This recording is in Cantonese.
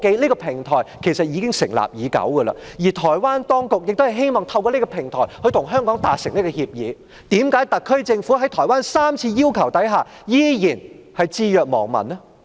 這個平台成立已久，而台灣當局亦希望透過這個平台與香港達成協議，為何特區政府在台灣3次要求下，仍然置若罔聞呢？